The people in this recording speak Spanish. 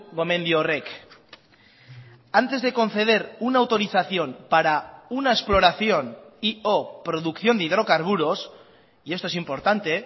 gomendio horrek antes de conceder una autorización para una exploración y o producción de hidrocarburos y esto es importante